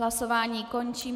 Hlasování končím.